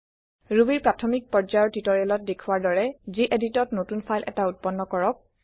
Rubyৰ প্ৰাথমিক পৰ্যায়ৰ টিওটৰিয়েলত দেখুৱা দৰে geditত নতুন ফাইল এটা উত্পন্ন কৰক